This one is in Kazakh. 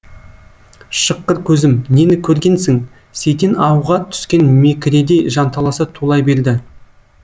шыққыр көзім нені көргенсің сейтен ауға түскен мекіредей жанталаса тулай берді